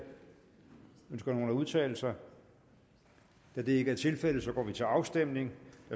ønsker nogen at udtale sig da det ikke er tilfældet går vi til afstemning